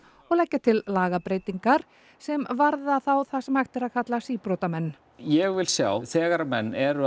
og leggja til lagabreytingar sem varða þá það sem hægt er að kalla síbrotamenn ég vil sjá þegar að menn eru